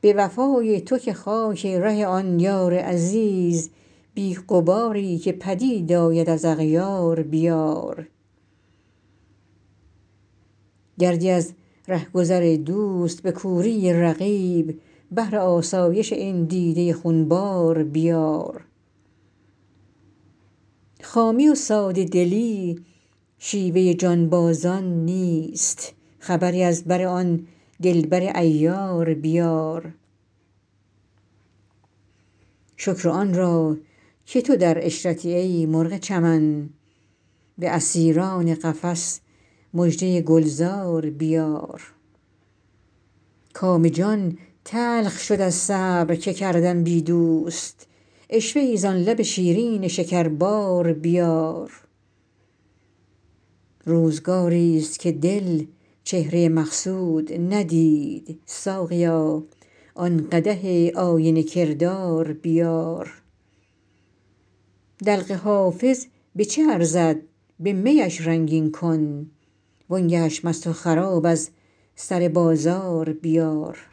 به وفای تو که خاک ره آن یار عزیز بی غباری که پدید آید از اغیار بیار گردی از ره گذر دوست به کوری رقیب بهر آسایش این دیده خون بار بیار خامی و ساده دلی شیوه جانبازان نیست خبری از بر آن دل بر عیار بیار شکر آن را که تو در عشرتی ای مرغ چمن به اسیران قفس مژده گل زار بیار کام جان تلخ شد از صبر که کردم بی دوست عشوه ای زان لب شیرین شکربار بیار روزگاریست که دل چهره مقصود ندید ساقیا آن قدح آینه کردار بیار دلق حافظ به چه ارزد به می اش رنگین کن وان گه اش مست و خراب از سر بازار بیار